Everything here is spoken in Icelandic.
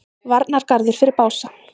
Varnargarður fyrir Bása